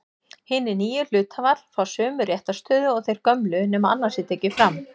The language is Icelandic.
Hinir nýju hluthafar fá sömu réttarstöðu og þeir gömlu nema annað sé tekið fram.